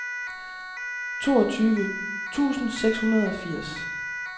toogtyve tusind seks hundrede og firs